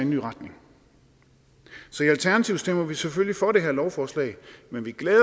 ny retning i alternativet stemmer vi selvfølgelig for det her lovforslag men vi glæder